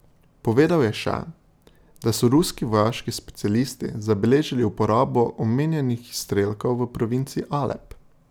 Povedal je še, da so ruski vojaški specialisti zabeležili uporabo omenjenih izstrelkov v provinci Alep.